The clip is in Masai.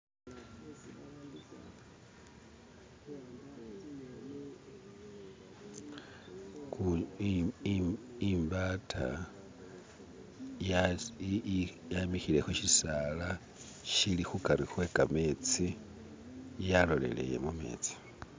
kun im im imbataa yasi yi yi yamikhile khushisaala shili khukari kwekhametsi yaloleleye mumetsi